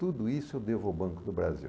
Tudo isso eu devo ao Banco do Brasil.